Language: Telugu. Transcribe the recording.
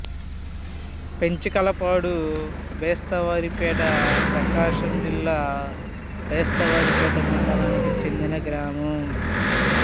పెంచికలపాడు బేస్తవారిపేట ప్రకాశం జిల్లా బేస్తవారిపేట మండలానికి చెందిన గ్రామం